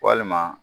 Walima